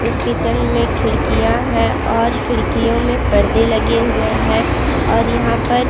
इस किचन में खिड़कियाँ हैं और खिड़कियों में परदे लगे हुए हैं और यहाँ पर --